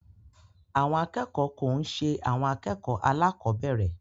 Àwọn akẹ́kọ̀ọ́ ko n ṣe àwọn akẹ́kọ̀ọ́ alakobere.